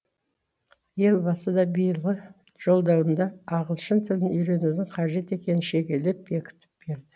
елбасы да биылғы жолдауында ағылшын тілін үйренудің қажет екенін шегелеп бекітіп берді